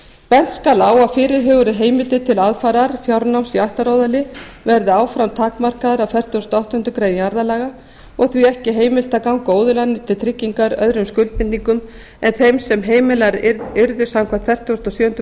bent skal á að fyrirhugað er að heimildir til aðfarar í ættaróðali verði áfram takmarkaðar af fertugasta og áttundu grein jarðalaga og því ekki heimilt að ganga að óðalinu til tryggingar öðrum skuldbindingum en þeim sem heimilaðar yrðu samkvæmt fertugustu og sjöundu